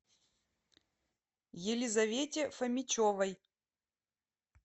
елизавете фомичевой